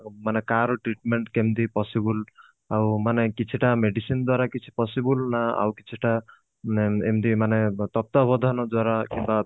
ମାନେ କାହାର treatment କେମତି possible ଆଉ ମାନେ କିଛି ଟା medicine ଦ୍ଵାରା କିଛି possible ନା ଆଉକିଛି ଟା ନ ଏମତି ମାନେ ତତ୍ଵବୋଧନ ଦ୍ଵାରା କିମ୍ବା